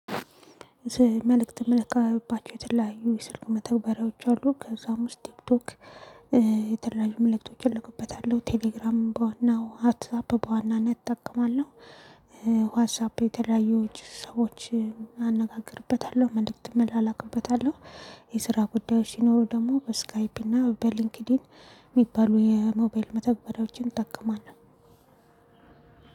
መልእክት የምለካባቸው የተለያዩ የስልክ መተግበሪያዎች አሉ። ከዛም ውስጥ ቲክቶክ የተለያዩ ምልክቶች እልኩበታለሁ። ቴሌግራም በዋናው፤ ዋትሳፕ በዋናነት እጠቀማለሁ፣ ዋትሳፕ የተለያየው ሰዎችን አነጋግርበታለሁ፤ መልእክትም አላውቅበታለሁ። የስራ ጉዳዮች ሲኖሩ ደግሞ በስካይፕ እና በሊንክድን የሚባሉ የሞባይል መተብለቦችን እጠቀማለሁ።